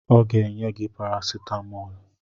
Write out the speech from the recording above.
Ọ ga-enye gị parasetamọlụ